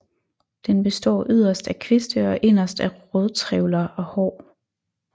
Den består yderst af kviste og inderst af rodtrævler og hår